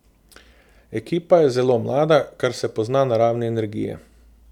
Ekipa je zelo mlada, kar se pozna na ravni energije.